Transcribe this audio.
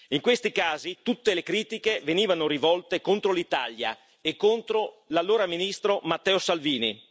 In questi casi, tutte le critiche venivano rivolte contro l'Italia e contro l'allora ministro Matteo Salvini.